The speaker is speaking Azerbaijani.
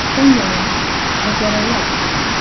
Sən yaramaz və zərərli adamsan.